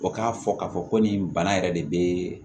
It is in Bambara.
O k'a fɔ k'a fɔ ko nin bana yɛrɛ de bɛ